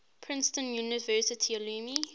princeton university alumni